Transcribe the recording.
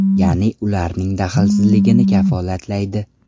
Ya’ni ularning daxlsizligini kafolatlaydi.